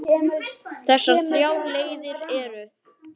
Megi minning hans lifa.